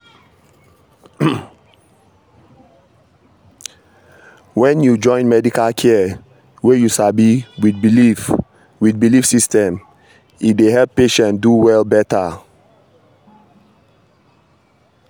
hold on — when you join medical care wey you sabi with belief with belief system e dey help patient do well better.